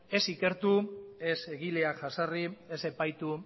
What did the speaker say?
ez ikertu ez egileak jazarri ez epaitu